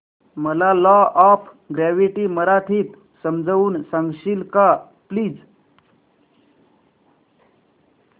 मला law of gravity मराठीत समजून सांगशील का प्लीज